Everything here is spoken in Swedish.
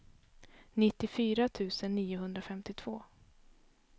nittiofyra tusen niohundrafemtiotvå